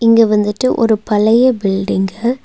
இங்க வந்துட்டு ஒரு பழைய பில்டிங்கு .